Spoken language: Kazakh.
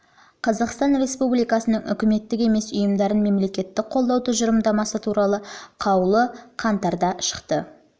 қазақстан республикасының үкіметтік емес ұйымдарын мемлекеттік қолдау тұжырымдамасы туралы қаулы жылғы қаңтардағы қаулы